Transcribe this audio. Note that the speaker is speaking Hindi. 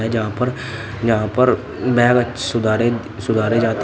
जहा पर यहां पर बैग सुधारे सुधारे जाते --